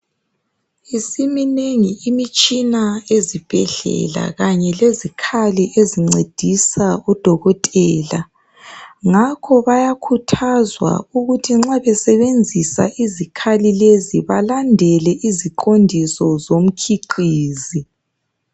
Isiminengi imitshina ezibhedlela kanye lezikhali ezincedisa odokotela, ngakho bayakhuthazwa ukuthi nxa besebenzisa izikhali lezi balandele iziqondiso zomkhiqizi